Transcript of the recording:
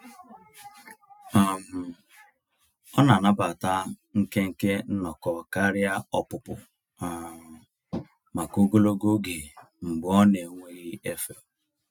um Ọ na-anabata nkenke nnọkọ karịa ọpụpụ um maka ogologo oge mgbe ọ n'enweghị efe.